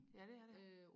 ja det er det